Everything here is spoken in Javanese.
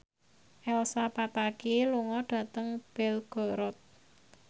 Elsa Pataky lunga dhateng Belgorod